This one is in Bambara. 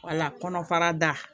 Wala kɔnɔ fara da